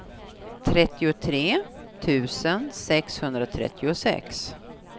trettiotre tusen sexhundratrettiosex